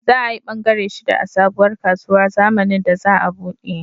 Za ayi bangare shida a sabuwar kasuwar zamanin da za a buɗe